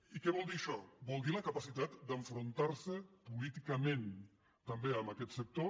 i què vol dir això vol dir la capacitat d’enfrontar se políticament també amb aquest sector